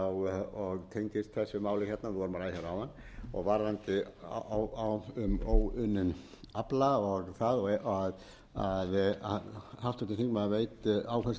þessu máli hérna vorum að ræða hérna áðan varðandi um óunninn afla og það að háttvirtur þingmaður veit áherslur mína í þeim efnum það er ekki gert ráð fyrir því að fara að liðka